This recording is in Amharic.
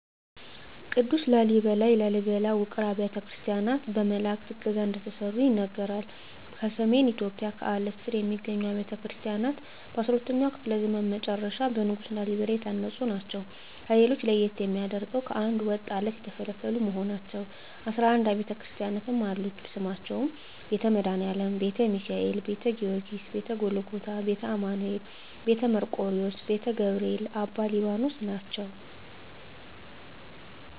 ቅዱስ ላሊበላ የላሊበላ ውቅር አብያተ ክርስቲያናት በመላዕክት ዕገዛ እንደተሠሩ ይነገራል። በሰሜን ኢትዮጵያ ከአለት ስር የሚገኙት አብያተ ክርስቲያናት በ12ኛው ክፍለ ዘመን መጨረሻ በንጉሥ ላሊበላ የታነጹ ናቸው። ከሌሎች ለየት የሚያደርገው ከአንድ ወጥ ዐለት የተፈለፈሉ መሆናቸው ነው 11 አቢያተ ክርስቲያናትም አሉት ስማቸውም ቤተ መድኃኒአለም: ቤተ ሚካኤል: ቤተ ጊዎርጊስ :ቤተ ጎልጎታ :ቤተ አማኑኤል: ቤተ መርቆሪዎስ :ቤተ ገብርኤል: አባ ሊባኖስ ናቸው